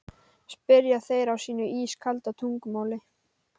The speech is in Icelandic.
spyrja þeir á sínu ískalda tungumáli.